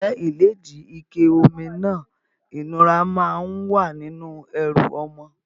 Ǹjẹ́ ìlédìí, ike omi náà ìnura máa ń wà nínú ẹrù ọmọ?